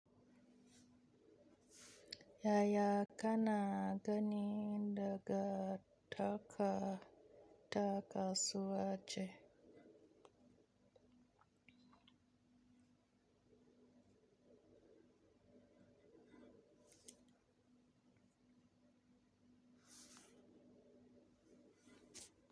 Yaya ka na gani daga taka-takasuwance?